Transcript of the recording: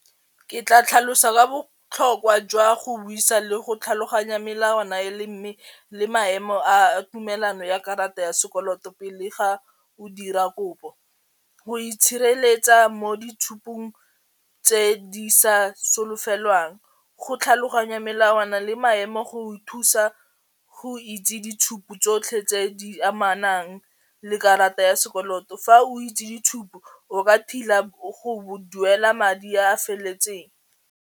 Ke tla tlhalosa ka botlhokwa jwa go buisa le go tlhaloganya melawana e le mme le maemo a tumelano ya karata ya sekoloto pele ga o dira kopo, go itshireletsa mo boitshupong tse di sa solofelwang go tlhaloganya melawana le maemo go o thusa go itse ditshupo tsotlhe tse di amanang le karata ya sekoloto fa o itse ditshupo o ka go duela madi a a feleletseng.